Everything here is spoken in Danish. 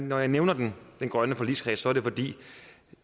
når jeg nævner den grønne forligskreds er det fordi